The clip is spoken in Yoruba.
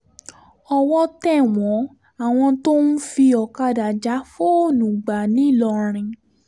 owó tẹ̀ wọ́n àwọn tó ń fi ọ̀kadà já fóònù gba ńìlọrin